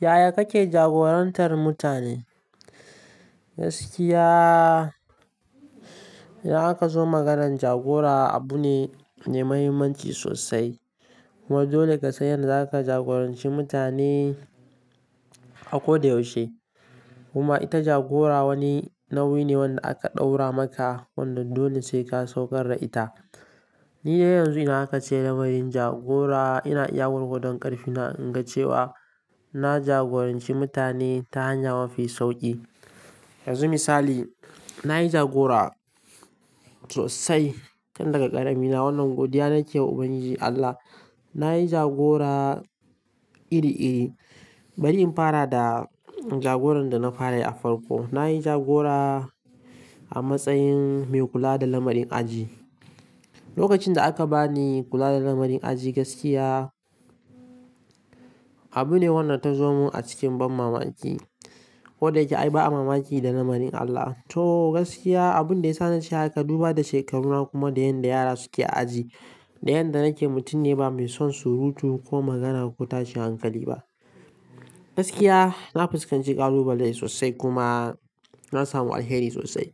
Yaya kake jagorantar mutane? Gaskiya, idan aka zo maganar jagora abu ne mai mahimmanci sosai. Kuma dole ka san yadda zaka jagoranci mutane a koda yaushe. Kuma ita jagora wani nauyi ne wanda aka ɗaura maka wanda dole sai ka saukar da ita. Ni dai yanzu idan aka ce lamarin jagora ina iya gorgodon ƙarfi na in ga cewa na jagoranci mutane ta hanya mafi sauƙi. Yanzu misali, na yi jagora sosai tun daga ƙaramina wannan godiya nake wa Ubangiji Allah. Na yi jagora iri-iri, bari in fara da jagoran da na farayi a farko. Na yi jagora a matsayin mai kula da lamarin aji. Lokacin da aka ba ni kula da lamarin aji gaskiya, abu ne wanda ta zo mun a cikin ban mamaki. Ko da yake ai ba a mamaki da lamarin Allah. To gaskiya, abun da ya sa na ce haka, duba da shekaruna kuma da yanda yara suke a aji, da yanda nake mutum ne ba mai son surutu ko magana ko tashin hankali ba. Gaskiya, na fuskanci ƙalubale sosai kuma na samu alheri sosai.